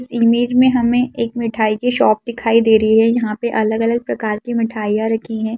इस इमेज में हमें एक मिटाई की शॉप दिखाई दे रही है यहाँ पे अलग-अलग प्रकार की मिठाइयाँ रखी हैं।